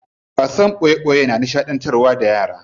Wasan boye boye na nishadantar da yara.